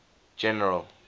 general